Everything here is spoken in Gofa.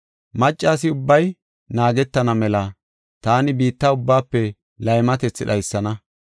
Maccas ubbay naagetana mela taani biitta ubbaafe laymatethi dhaysana.